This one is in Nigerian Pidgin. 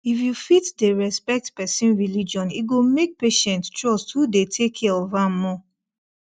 if you fit dey respect person religion e go make patient trust who dey take care of am more